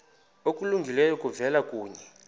okulungileyo kuvela kuye